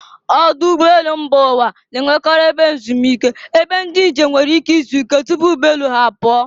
Ọdụ ụgbọ elu mba ụwa na-enwekarị ebe ezumike, ebe ndị njem nwere ike izuike tupu ụgbọ elu ha apụọ.